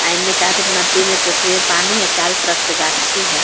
एने कहा ते नदी मे पोखर में पानी है चारो तरफ से गाछी है।